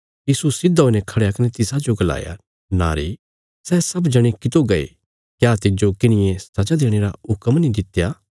यीशु सिधा हुईने खढ़या कने तिसाजो गलाया नारी सै सब जणे कितो गये क्या तिज्जो किन्हिये सजा देणे रा हुक्म नीं दित्या